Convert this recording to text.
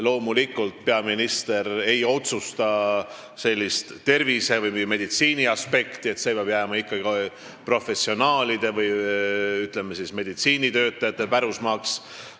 Loomulikult, peaminister ei otsusta tervise- või meditsiiniaspekti, see peab jääma ikkagi professionaalide või, ütleme, meditsiinitöötajate pärusmaaks.